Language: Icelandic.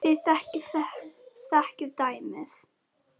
Þið þekkið dæmin.